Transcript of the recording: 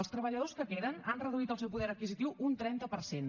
els treballadors que queden han reduït el seu poder adquisitiu un trenta per cent